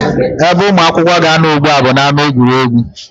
Ebe ụmụ akwụkwọ ga-anọ ugbu a bụ n'ámá egwuregwu